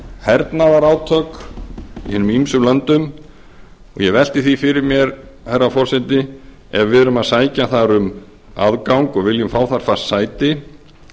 hernaðarátök í hinum ýmsu löndum og ég velti því fyrir mér herra forseti ef við erum að sækja þar um aðgang og viljum fá þar fast sæti